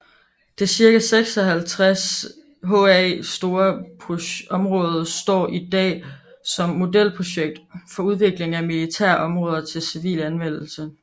Det cirka 56 ha store område står i dag som modelprojekt for udvikling af militære områder til civil anvendelse